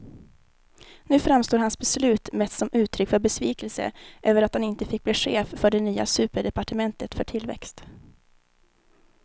Nu framstår hans beslut mest som uttryck för besvikelse över att han inte fick bli chef för det nya superdepartementet för tillväxt.